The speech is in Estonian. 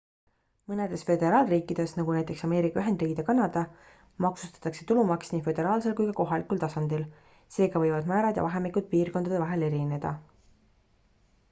mõnedes föderaalriikides nagu näiteks ameerika ühendriigid ja kanada maksustatakse tulumaks nii föderaalsel kui ka kohalikul tasandil seega võivad määrad ja vahemikud piirkondade vahel erineda